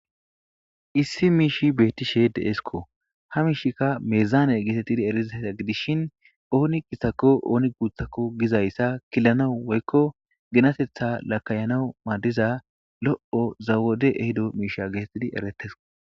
issi miishi beettishe de7esko ha miishika meezaane geetettidi erizaysa gidishin ooni gisako ooni guuthakko gizayssa killanawu woykko ginatetha lakayanawu maadiza lo7o zawode ehido miisha geetettidi ereteso